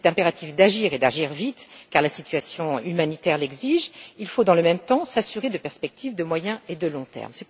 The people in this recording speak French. S'il est impératif d'agir et d'agir vite, car la situation humanitaire l'exige, il faut dans le même temps, s'assurer de perspectives à moyen et long termes.